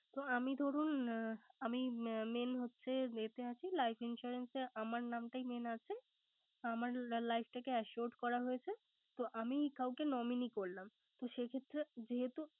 তো আমি ধরুন আমি Main হচ্ছে যে Life insurance আছি। আমার নামটাই Main আছে। আমার Life টাকে Assuat করা হয়েছে। তো আমি কাউকে nominee করলাম